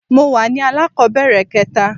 mo wa ní alakobere kẹta